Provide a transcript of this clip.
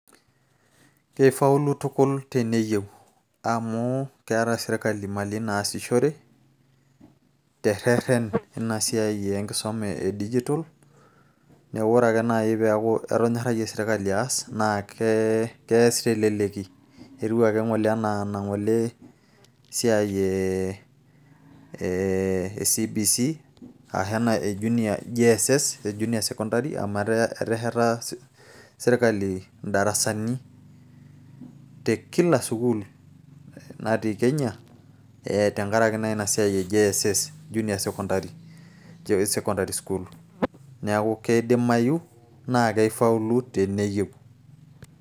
Kifaulu tukul teneyieu. Amu keeta sirkali imali naasishore, terrerren inasiai enkisuma edijitol, neeku ore ake nai peeku etonyorrayie sirkali aas, na keas teleleki. Etiu ake ng'ole enaa enang'ole siai eh CBC,ashu ena e junior JSS, Junior Secondary ,amu etesheta sirkali idarasani tekila sukuul natii Kenya, tenkaraki naa inasiai e JSS, Junior Secondary School. Neeku kidimayu na kifaulu teneyieu.